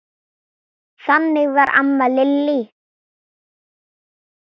Þannig var amma Lillý.